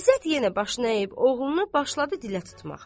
İzzət yenə başını əyib oğlunu başladı dilə tutmağa.